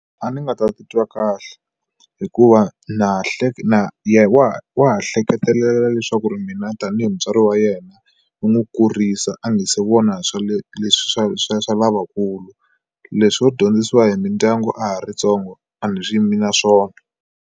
A ndzi nga ta titwa kahle hikuva na hleka na ye wa wa ha hleketelela leswaku mina tanihi mutswari wa yena u n'wi kurisa a nga se vona swa le leswi swa swa swa lavakulu leswo dyondzisiwa hi mindyangu a ha ri tsongo a ni swi yimi na swona.